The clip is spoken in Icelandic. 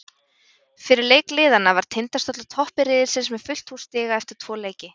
Fyrir leik liðanna var Tindastóll á toppi riðilsins með fullt hús stiga eftir tvo leiki.